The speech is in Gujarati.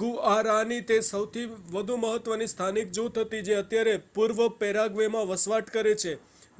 ગુઆરાની એ સૌથી વધુ મહત્ત્વની સ્થાનિક જૂથ હતી જે અત્યારે પૂર્વપેરાગ્વેમાં વસવાટ કરે છે